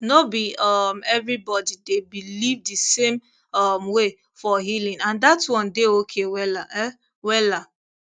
no be um everybody dey believe the same um way for healing and that one dey okay wella um wella